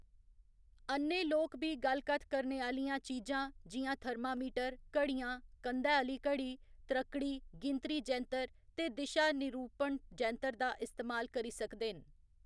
अ'न्ने लोक बी गल्ल कत्थ करने आह्‌‌‌लियां चीजां जि'यां थरमामीटर, घड़ियां, कंधै आह्‌ली घड़ी, त्रक्कड़ी, गिनतरी जैंतर ते दिशा निरूपण जैंतर दा इस्तेमाल करी सकदे न।